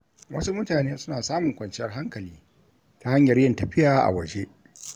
Wasu mutane suna samun kwanciyar hankali ta hanyar yin tafiya a waje.